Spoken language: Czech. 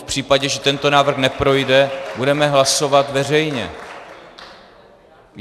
V případě, že tento návrh neprojde, budeme hlasovat veřejně.